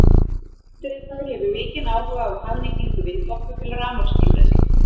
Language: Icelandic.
Undirritaður hefur mikinn áhuga á hagnýtingu vindorku til rafmagnsframleiðslu.